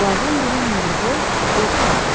Onlardan biri hündürboy, orta yaşlı idi.